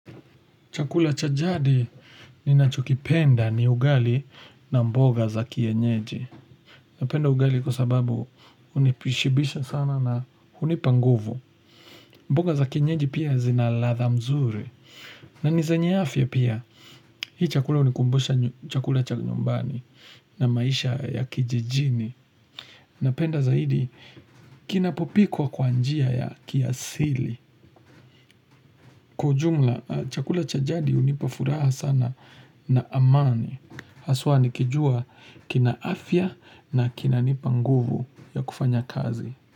Chakula cha jadi ninachokipenda ni ugali na mboga za kienyeji. Napenda ugali kwa sababu hunishibisha sana na hunipa nguvu. Mboga za kienyeji pia zina ladha mzuri. Na ni zenye afya pia, hii chakula hunikumbusha chakula cha nyumbani na maisha ya kijijini. Napenda zaidi, kinapopikwa kwanjia ya kiasili. Kwa ujumla, chakula chajadi hunipa furaha sana na amani. Haswa nikijua kina afya na kina nipa nguvu ya kufanya kazi.